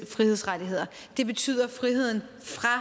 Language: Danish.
frihedsrettigheder det betyder friheden